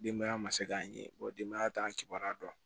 Denbaya ma se k'an ye denbaya t'an kibaruya dɔn